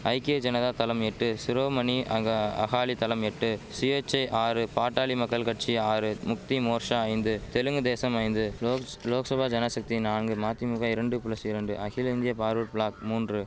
ஐக்கிய ஜனதா தளம் எட்டு சிரோமணி அக அகாலி தளம் எட்டு சுயேச்சை ஆறு பாட்டாளி மக்கள் கட்சி ஆறு முக்தி மோர்ஷா ஐந்து தெலுங்கு தேசம் ஐந்து லோக்ஸ் லோக்சபா ஜனசக்தி நான்கு மதிமுக இரண்டு பிளஸ் இரண்டு அகில இந்திய பார்வர்ட் பிளாக் மூன்று